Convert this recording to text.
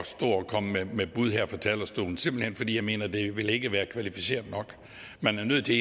stå og komme med bud her fra talerstolen simpelt hen fordi jeg mener det ikke vil være kvalificeret nok man er nødt til